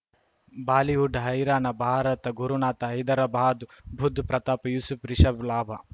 Bollywood ಹೈರಾಣ ಭಾರತ ಗುರುನಾಥ ಹೈದರಾಬಾದ್ ಬುಧ್ ಪ್ರತಾಪ್ ಯೂಸುಫ್ ರಿಷಬ್ ಲಾಭ